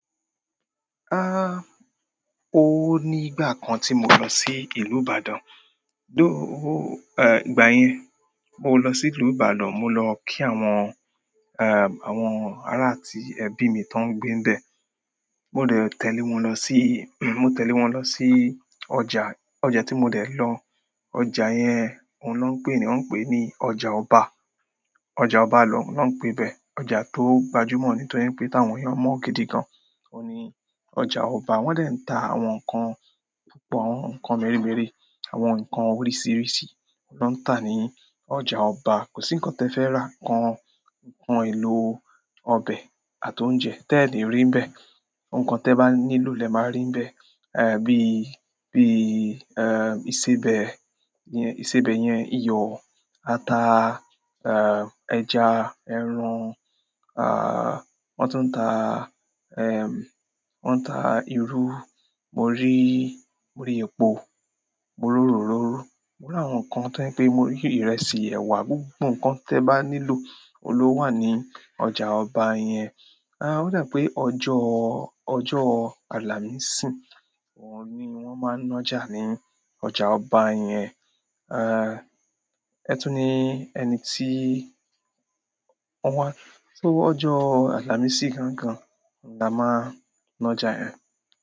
Ó ní ìgbà kan tí mo lọ sí ìlú Ìbàdàn. Ìgbà yẹn mo lọ sí ìlú Ìbàdàn, mo lọ kí àwọn, àwọn ará ti ẹbí mi tó ń gbé bẹ̀. Mo dẹ̀ tẹ̀lé wọn lọ sí, mo tẹ̀lé wọn lọ sí ọjà. Ọjà tí mo dẹ̀ lọ, ọjà yẹn oun na ń pè, ní won ń pè ní ọjà ọba. Ọjà ọba na ń pe bẹ. Ọjà to gbajumo ni, toripe ti àwọn eeyan mo gidi gan. Ó ní ọjà ọba. Wọ́n dẹ̀ ń ta àwọn nǹkan púpọ̀, àwọn nǹkan meremere, àwọn nǹkan oríṣìíríṣìí na ń tà ní ọjà ọba. Kò sí nǹkan tó fẹ́ rà, nǹkan, nǹkan ìlò ọbẹ̀ àti oúnjẹ tẹ́ẹ̀ lẹ̀ rí nbẹ̀. Nǹkan te bá nílò lẹ máa rí nbẹ̀. Bí iìsébẹ̀ yẹn, ìsébẹ̀ yẹn, iyọ̀, ata, ẹja, ẹran, wọ́n tún ń ta wọ́n ń ta irú. Mo rí, mo rí epo, mo rí òróró. Mo rí àwọn nǹkan tó je pé, mo rí ìrẹsì, ẹ̀wà, gbogbo nǹkan tó bá nílò oun lo wà ní ọjà ọba yẹn. Ó dà pé ọjọ́, ọjọ́ àlàmísì wọ́n ni wọ́n máa ń nájà ní ọjà ọba yẹn. Ẹtù ní ẹni tí, wọ́n, tó ọjọ́ àlàmísì gangan la máa ń nájà yẹ̀n.